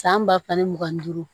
San ba fila ni mugan ni duuru